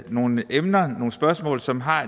nogle emner nogle spørgsmål som har